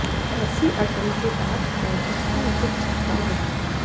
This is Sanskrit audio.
ऐसी अटल जो बात है उसकी उचित चिन्ता नहीं